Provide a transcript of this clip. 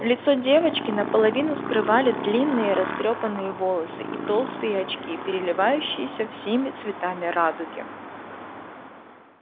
лицо девочки наполовину скрывали длинные растрёпанные волосы и толстые очки переливающиеся всеми цветами радуги